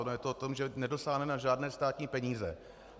Ono je to o tom, že nedosáhne na žádné státní peníze.